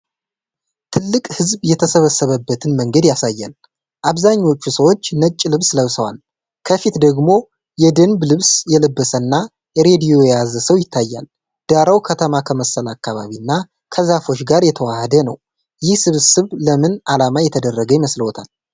ትልቅ ሕዝብ የተሰበሰበበትን መንገድ ያሳያል። አብዛኞቹ ሰዎች ነጭ ልብስ ለብሰዋል፤ ከፊት ደግሞ የደንብ ልብስ የለበሰና ሬዲዮ የያዘ ሰው ይታያል። ዳራው ከተማ ከመሰለ አካባቢ እና ከዛፎች ጋር የተዋሃደ ነው። ይህ ስብስብ ለምን ዓላማ የተደረገ ይመስልዎታል?